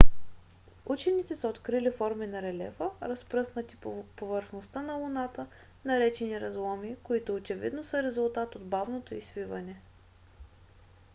учените са открили форми на релефа разпръснати по повърхността на луната наречени разломи които очевидно са резултат от бавното й свиване